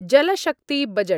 जलशक्तिबजट्